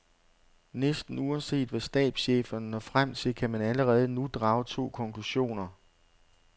Næsten uanset hvad stabscheferne når frem til, kan man allerede nu drage to konklusioner.